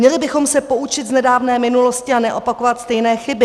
Měli bychom se poučit z nedávné minulosti a neopakovat stejné chyby.